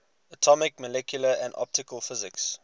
atomic molecular and optical physics